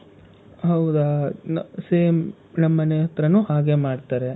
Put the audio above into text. ಹೌದಾ? same ನಮ್ ಮನೆ ಹತ್ರಾನೂ ಹಾಗೆ ಮಾಡ್ತಾರೆ.